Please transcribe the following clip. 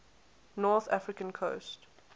north african coast